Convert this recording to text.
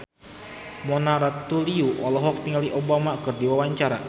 Mona Ratuliu olohok ningali Obama keur diwawancara